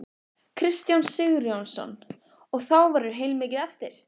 Kristján Sigurjónsson: Og þá verður heilmikið eftir?